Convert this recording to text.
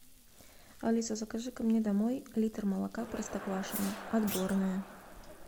алиса закажи ка мне домой литр молока простоквашино отборное